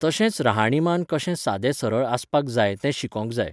तशेंच रहाणीमान कशें सादें सरळ आसपाक जाय तेंय शिकोंक जाय